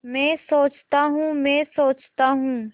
मैं सोचता हूँ मैं सोचता हूँ